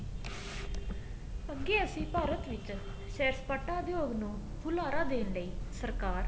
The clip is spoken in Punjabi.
ਅੱਗੇ ਅਸੀਂ ਭਾਰਤ ਵਿੱਚ ਸੈਰ ਸਪਾਟਾ ਉਦਯੋਗ ਨੂੰ ਹੁਲਾਰਾ ਦੇਣ ਲਈ ਸਰਕਾਰ